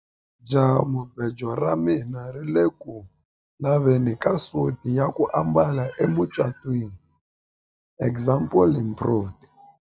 jahamubejo ra mina ri ku le ku laveni ka suti ya ku ambala emucatwiniexample improved